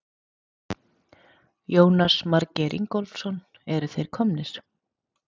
Jónas Margeir Ingólfsson: Eru þeir komnir?